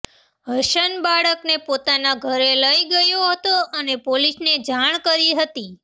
હસન બાળકને પોતાના ઘરે લઈ ગયો હતો અને પોલીસને જાણ કરી હતી